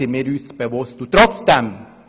Dessen sind wir uns bewusst.